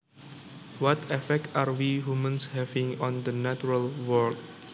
What effect are we humans having on the natural world